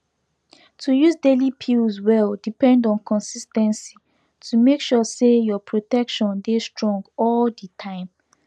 to use daily pills well depend on consis ten cy to make sure say your protection dey strong all the time